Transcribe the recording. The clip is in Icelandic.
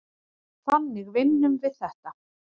Þannig vinnum við þetta.